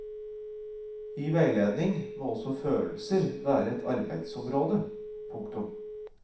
I veiledning må også følelser være et arbeidsområde. punktum